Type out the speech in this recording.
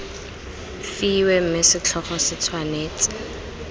fiwe mme setlhogo se tshwanetse